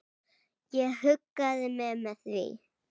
Ég huggaði mig með því.